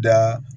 Da